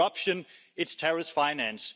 It's corruption, it's terrorist finance.